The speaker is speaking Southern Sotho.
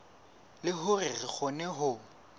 le hore re kgone ho